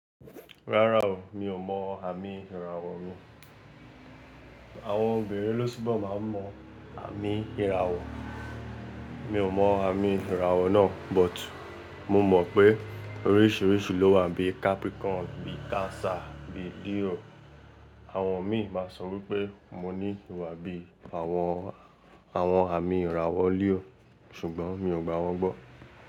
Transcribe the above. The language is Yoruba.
Rárá o, mi ò mọ àmì ìràwọ̀ mi. Àwọn obìnrin ló sábà máa ń mọ àmì ìràwọ̀. Mi ò mọ àmì ìràwọ̀ náà, but mo mọ̀ pé oríṣiríṣi ló wà bí Capricorn, bí Cancer, bí Leo. Àwọn mi máa sọ wípé mo ní ìwà bí àwọn, àwọn àmì ìràwọ̀ Leo, ṣùgbọ́n mi ò gbà wọ́n gbọ́.